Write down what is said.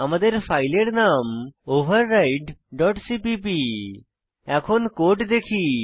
আমাদের ফাইলের নাম ওভাররাইড ডট সিপিপি এখন কোড দেখি